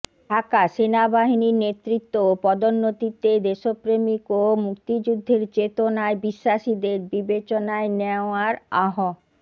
ঢাকাঃ সেনাবাহিনীর নেতৃত্ব ও পদোন্নতিতে দেশ প্রেমিক ও মুক্তিযুদ্ধের চেতনায় বিশ্বাসীদের বিবেচনায় নেওয়ার আহ্